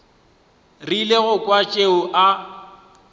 rile go kwa tšeo a